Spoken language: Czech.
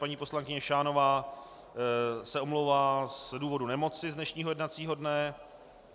Paní poslankyně Šánová se omlouvá z důvodu nemoci z dnešního jednacího dne.